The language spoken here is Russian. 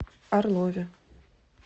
орлове